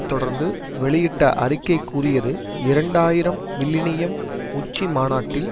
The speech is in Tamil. தொடர்ந்து வெளியிட்ட அறிக்கை கூறியது இரண்டு ஆயிரம் மில்லினியம் உச்சிமாநாட்டில்